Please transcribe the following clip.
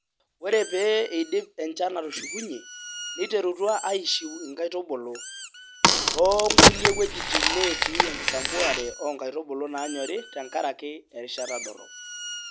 Ore pee eidip enchan atushukunyie, neiterutua aishiu nkaitubulu , too nkulie wuejitin netii enkisampuare oo nkaitubulu naanyori tenkaraki erishata dorrop.